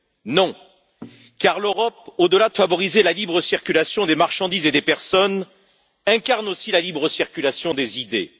Non, car l'Europe, au delà de favoriser la libre circulation des marchandises et des personnes, incarne aussi la libre circulation des idées.